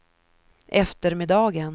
eftermiddagen